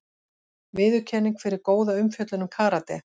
Viðurkenning fyrir góða umfjöllun um karate